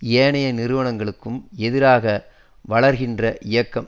ஏனைய நிறுவனங்களுக்கும் எதிராக வளர்கின்ற இயக்கம்